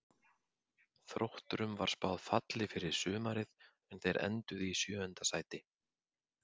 Þrótturum var spáð falli fyrir sumarið en þeir enduðu í sjöunda sæti.